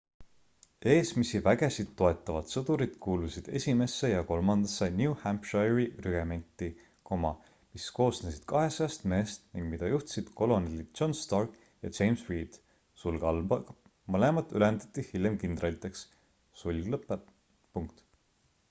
eesmisi vägesid toetavad sõdurid kuulusid esimesse ja kolmandasse new hampshire'i rügementi mis koosnesid 200 mehest ning mida juhtisid kolonelid john stark ja james reed mõlemad ülendati hiljem kindraliteks